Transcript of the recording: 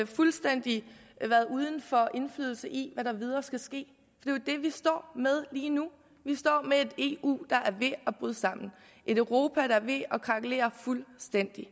fuldstændig uden for indflydelse i hvad der videre skal ske jo det vi står med lige nu vi står med et eu der er ved at bryde sammen et europa der er ved at krakelere fuldstændigt